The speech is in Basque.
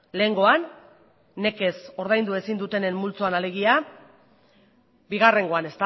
lehengoan nekez ordaindu ezin dutenen multzoan alegia bigarrengoan